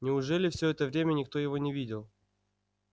неужели все это время никто его не видел